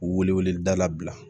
Wele weleda la bila